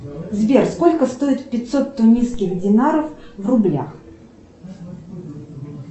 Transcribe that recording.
сбер сколько стоит пятьсот тунисских динаров в рублях